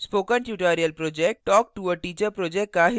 spoken tutorial project talktoateacher project का हिस्सा है